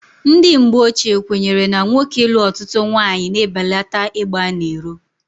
Ndị mgbochie kwenyere na nwoke ịlụ ọtụtụ nwaanyị na-ebelata ịgba n'iro.